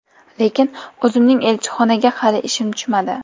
Lekin o‘zimning elchixonaga hali ishim tushmadi.